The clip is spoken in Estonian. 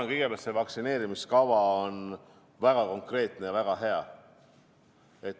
Ma arvan, et see vaktsineerimiskava on väga konkreetne ja väga hea.